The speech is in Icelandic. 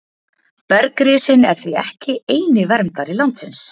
bergrisinn er því ekki eini verndari landsins